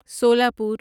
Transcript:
سولہ پور